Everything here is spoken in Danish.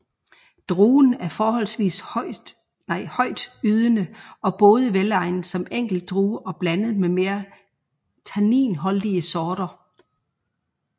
Druen er forholdsvist højtydende og både velegnet som enkeltdrue og blandet med mere tanninholdige sorter